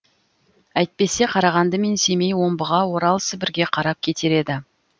әйтпесе қарағанды мен семей омбыға орал сібірге қарап кетер еді